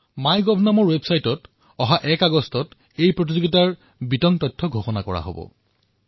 মাই gov ৱেবছাইটত এক আগষ্ট তাৰিখে এই প্ৰতিযোগিতাৰ বিষয়ে সবিশেষ তথ্য প্ৰদান কৰা হব